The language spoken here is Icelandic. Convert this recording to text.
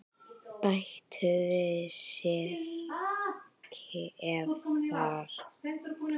Bættu við sykri ef þarf.